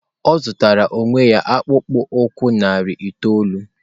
Ọ zụtara onwe ya akpụkpọ ụkwụ narị itoolu.